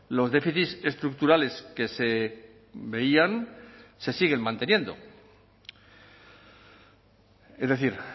los déficits estructurales que se veían se siguen manteniendo es decir